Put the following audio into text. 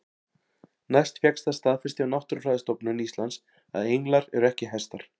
Næst fékkst það staðfest hjá Náttúrufræðistofnun Íslands að englar eru ekki hestar.